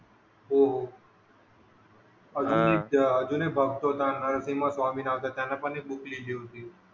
हो हो अं अजून एक भक्त होता नरसीमा स्वामी नावाचा त्यांनी पण एक बुक लिहिली होती.